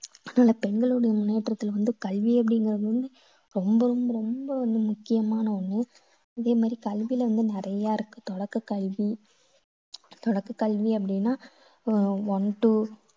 அதனால பெண்களுடைய முன்னேற்றத்துக்கு வந்து கல்வி அப்படிங்கறது வந்து ரொம்பவும் ரொம்ப வந்து முக்கியமான ஒண்ணு. அதே மாதிரி கல்வியில வந்து நிறைய இருக்கு. தொடக்க கல்வி தொடக்க கல்வி அப்படின்னா ஆஹ் one to